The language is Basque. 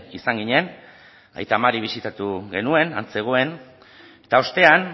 izan ginen aita mari bisitatu genuen han zegoen eta ostean